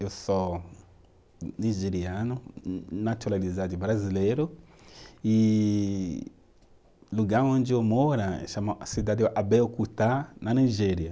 Eu sou nigeriano, na naturalizado brasileiro e o lugar onde eu moro chama, é a cidade de Abeokuta, na Nigéria.